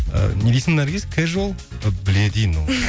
і не дейсің наргиз кэжуал і біледі ей мынау